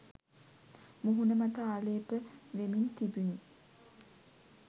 මුහුණු මත ආලේප වෙමින් තිබුණි.